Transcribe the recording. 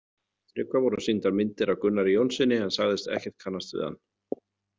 Tryggva voru sýndar myndir af Gunnari Jónssyni en sagðist ekkert kannast við hann.